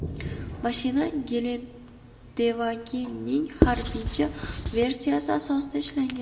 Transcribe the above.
Mashina Gelendewagen’ning harbiycha versiyasi asosida ishlangan.